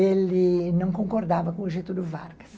Ele não concordava com o jeito do Vargas.